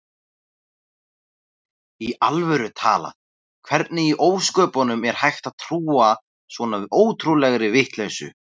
Í alvöru talað: Hvernig í ósköpunum er hægt að trúa svona ótrúlegri vitleysu?